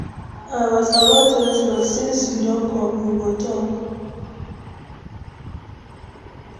I was about to rest, but since you don come, we go talk.